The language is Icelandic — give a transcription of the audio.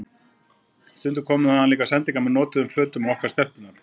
Stundum komu þaðan líka sendingar með notuðum fötum á okkur stelpurnar.